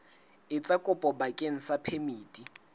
etsa kopo bakeng sa phemiti